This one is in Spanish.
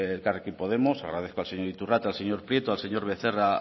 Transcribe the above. elkarrekin podemos agradezco al señor iturrate al señor prieto y al señor becerra